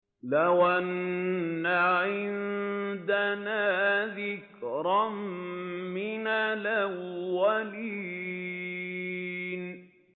لَوْ أَنَّ عِندَنَا ذِكْرًا مِّنَ الْأَوَّلِينَ